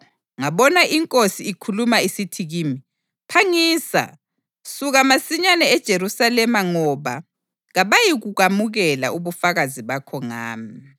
ngabona iNkosi ikhuluma isithi kimi, ‘Phangisa! Suka masinyane eJerusalema ngoba kabayikubamukela ubufakazi bakho ngami.’